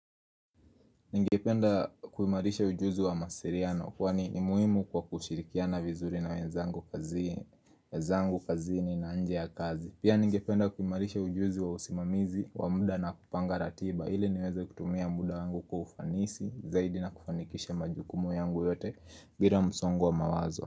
Ningependa kuhimarisha ujuzi wa mawasiliano kwani ni muhimu kwa kushirikiana vizuri na wenzangu kazini na nje ya kazi. Pia ningependa kuimarisha ujuzi wa usimamizi wa muda na kupanga ratiba ili niweze kutumia muda wangu kwa ufanisi zaidi na kufanikisha majukumu yangu yote bila msongo wa mawazo.